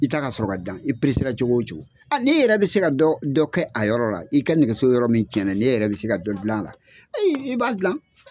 I ta ka sɔrɔ ka dan i peresera cogo o cogo aa ni yɛrɛ be se ka dɔ dɔ kɛ a yɔrɔ la i ka nɛgɛso yɔrɔ min cɛn na n'e yɛrɛ bi se ka dɔ gila a la i i i b'a gilan